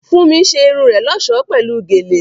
Fúnmi ṣe irun rẹ̀ lọ́ṣọ̀ọ́ pẹ̀lú gèlè